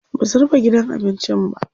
Basu rufe gidan abincin ba.